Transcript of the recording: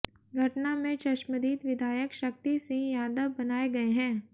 घटना में चश्मदीद विधायक शक्ति सिंह यादव बनाए गये हैं